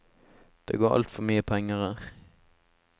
Det går altfor mye penger her.